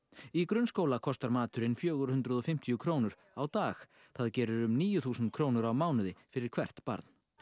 í grunnskóla kostar maturinn fjögur hundruð og fimmtíu krónur á dag það gerir um níu þúsund krónur á mánuði fyrir hvert barn